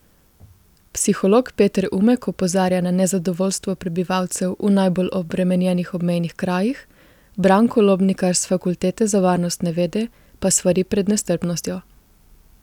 Psiholog Peter Umek opozarja na nezadovoljstvo prebivalcev v najbolj obremenjenih obmejnih krajih, Branko Lobnikar s fakultete za varnostne vede pa svari pred nestrpnostjo.